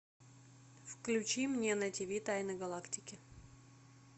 включи мне на тв тайны галактики